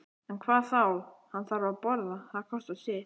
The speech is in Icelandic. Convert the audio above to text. En hvað þá, hann þarf að borða, það kostar sitt.